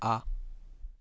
а